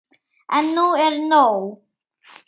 En nú er nóg!